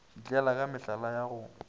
šitlela ka mehlala ya go